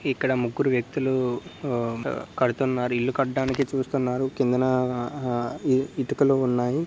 ఇక్కడ ముగ్గురు వ్యక్తులు ఆ కడుతున్నారు. ఇల్లు కట్టడానికి చూస్తున్నారు. కిందన ఇటుకలు ఉన్నాయి.